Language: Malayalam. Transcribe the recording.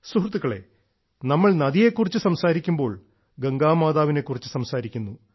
സുഹൃത്തുക്കളെ നമ്മൾ നദിയെ കുറിച്ച് സംസാരിക്കുമ്പോൾ ഗംഗാ മാതാവിനെ കുറിച്ച് സംസാരിക്കുന്നു